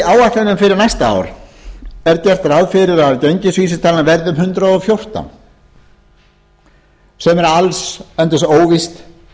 áætlunum fyrir næsta ár er gert ráð fyrir að gengisvísitala verði um hundrað og fjórtán sem allsendis er óvíst